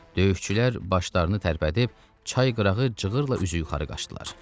Döyüşçülər başlarını tərpədib çay qırağı cığırla üzü yuxarı qaçdılar.